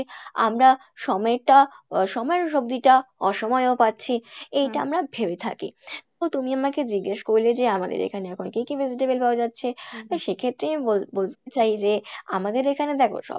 আমরা সময়টা, আহ সময়ের সবজি টা অসময়েও পাচ্ছি এইটা আমরা ভেবে থাকি, তো তুমি আমাকে জিজ্ঞেস করলে যে আমাদের এখানে এখন কী কী vegetable পাওয়া যাচ্ছে তো সেক্ষেত্রেই আমি বল~বলতে চাই যে আমাদের এখানে দেখো সব